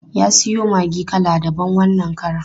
Ya siyo maggi kala daban wannan karon.